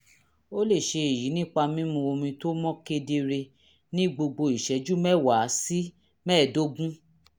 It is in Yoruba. ó lè ṣe èyí nípa mímu omi tó mọ́ kedere ní gbogbo ìṣẹ́jú mẹ́wàá sí mẹ́ẹ̀ẹ́dógún